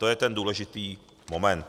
To je ten důležitý moment.